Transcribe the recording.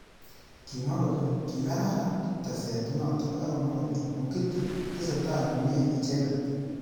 Kimwa kole kikararan teset notok akomwa kole Mugithi tesetai komye icheket.